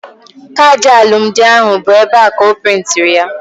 Kaadị alụmdi ahụ bụ ebea ka a prịntị ya